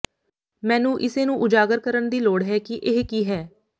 ਮੈਨੂੰ ਇਸੇ ਨੂੰ ਉਜਾਗਰ ਕਰਨ ਦੀ ਲੋੜ ਹੈ ਕਿ ਇਹ ਕੀ ਹੈ